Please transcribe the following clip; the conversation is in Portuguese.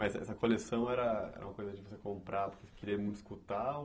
Mas essa coleção era era uma coisa que você comprava porque queria muito escutar?